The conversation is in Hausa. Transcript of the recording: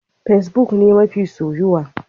Fesbuk ne mafi soyuwa.